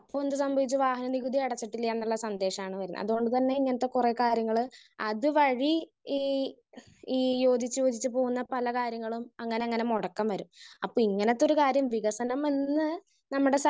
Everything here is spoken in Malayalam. സ്പീക്കർ 1 അപ്പൊ എന്ത് സംഭവിച്ചു? വഹന നികുതി അടിച്ചിട്ടില്ലാന്നുള്ള സന്ദേഷാണ് വരാ. അതുകൊണ്ട് തന്നെ ഇങ്ങനത്തെ കൊറേ കാര്യങ്ങള് അതുവഴി ഈ ഈ ഒരു പല കാര്യങ്ങളും അങ്ങനങ്ങനെ മുടക്കം വരും. അപ്പൊ ഇങ്ങനെത്തൊരു കാര്യം വികസനം എന്ന് നമ്മുടെ